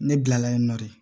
Ne kilala yen nɔ de